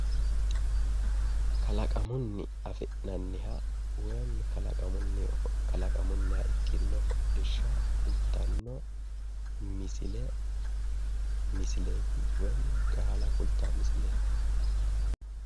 Kalaqamunni afi'nanniha woyi kalaqamunniha ikkino hodhishsha kultanno misile misileeti woyi gaala kultawo misileeti.